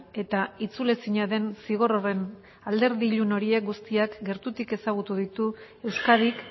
eta itzul ezina den zigor horren alderdi ilun horiek guztiak gertutik ezagutu ditu euskadik